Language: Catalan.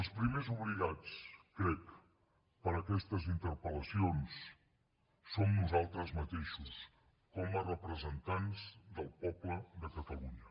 els primers obligats crec per aquestes interpel·lacions som nosaltres mateixos com a representants del poble de catalunya